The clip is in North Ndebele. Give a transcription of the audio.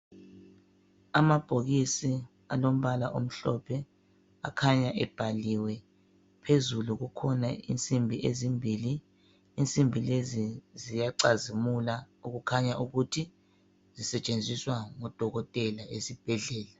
Amabhokisi alombala omhlophe akhanya ebhaliwe, phezulu kukhona insimbi ezimbili. Insimbi lezi ziyacazimula, okukhanya ukuthi zisetshenziswa ngo dokotela esibhedlela